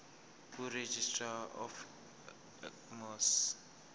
kuregistrar of gmos